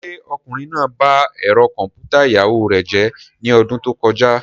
Ṣé ọkùnrin náà ba ẹ̀rọ kọ̀m̀pútà ìyàwó rẹ̀ jẹ́ ní ọdún tó kọjá?